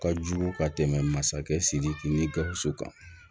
Ka jugu ka tɛmɛ masakɛ sidiki ni gawusu kan